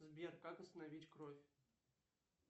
сбер как остановить кровь